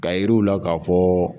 Ka yir'u la k'a fɔ